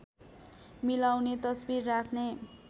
मिलाउने तस्बिर राख्ने